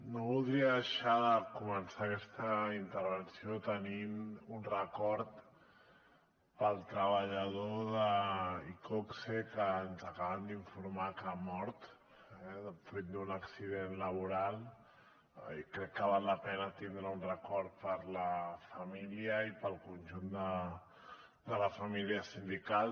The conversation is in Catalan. no voldria deixar de començar aquesta intervenció tenint un record pel treballador d’iqoxe que ens acaben d’informar que ha mort fruit d’un accident laboral i crec que val la pena tindre un record per a la família i per al conjunt de la família sindical